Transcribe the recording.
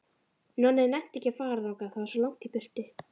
Nonni nennti ekki að fara þangað, það var svo langt í burtu.